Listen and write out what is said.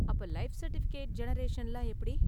அப்ப life certificate ஜெனரேஷன்லாம் எப்படி?